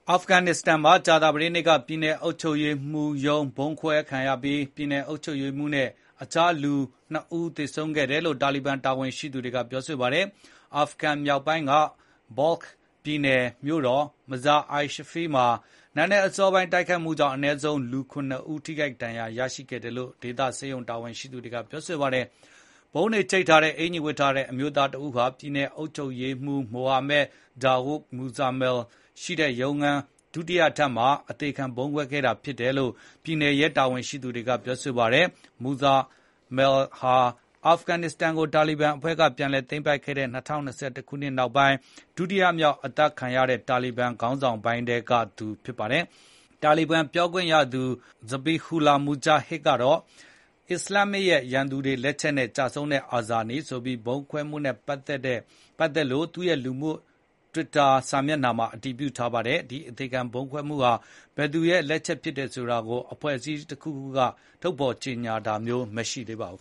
အာဖဂန်နစ္စတန်မှာ ကြာသပတေးနေ့က ပြည်နယ်အုပ်ချုပ်ရေးမှူးရုံး ဗုံးခွဲခံရပြီး ပြည်နယ်အုပ်ချုပ်ရေးမှူးနဲ့ တခြား လူ ဦး သေဆုံးခဲ့တယ်လို့ တာလီဘန်အာဏာပိုင်တွေက ပြောပါတယ်။ အာဖဂန် မြောက်ပိုင်းက ဘော့လ်ခ် Balkh ပြည်နယ် မြို့တော် မဇာ-အိုင်-ရှရိဖ် Mazar-i-Sharif မှာ နံနက်အစောပိုင်း တိုက်ခိုက်မှုကြောင့် အနည်းဆုံး လူ ဦးလည်း ဒဏ်ရာရခဲ့တယ်လို့ ဒေသဆေးရုံ တာဝန်ရှိသူတွေက ပြောပါတယ်။ ဗုံးတွေချိတ်ထားတဲ့ အင်္ကျီဝတ် အမျိုးသားတစ်ဦးဟာ ပြည်နယ်အုပ်ချုပ်ရေးမှူး မိုဟာမက် ဒါဝုဒ် မူဇာမယ်လ် Mohammad Dawood Muzamil ရဲ့ ရုံးခန်းရှိတဲ့ ဒုတိယထပ်မှာ ကိုယ့်ဘာသာ အသေခံ ဗုံးခွဲခဲ့တာလို့ ပြည်နယ်ရဲအရာရှိတွေက ပြောပါတယ်။ မူဇာမယ်လ် ဟာ အာဖဂန်နစ္စတန်ကို တာလီဘန်အဖွဲ့က ပြန်လည်သိမ်းပိုက်ခဲ့တဲ့ ၂၀၂၁ နောက်ပိုင်း တာလီဘန်ခေါင်းဆောင်းပိုင်းထဲက ဒုတိယမြောက် အသတ်ခံခဲ့ရသူ ဖြစ်လာပါတယ်။ တာလီဘန်ပြောခွင့်ရ ဇဘီဟူလာ မူဂျာဟစ် Zabihullah Mujahid ကတော့ “အစ္စလာမ်ရဲ့ ရန်သူတွေ လက်ချက်နဲ့ ကျဆုံးခဲ့တဲ့ အာဇာနည်” ဆိုပြီး ဒီဗုံးခွဲမှုနဲ့ ပတ်သက်လို့ သူ့ရဲ့ လူမှုကွန်ရက် တွစ်တာမှာ အတည်ပြုထားပါတယ်။ ဒီအသေခံဗုံးကွဲမှုက ဘယ်သူ့ လက်ချက်လဲဆိုတာကို အဖွဲ့အစည်းတခုခုက ချက်ချင်း ထုတ်ဖော် ကြေညာတာမျိုး မရှိသေးပါဘူး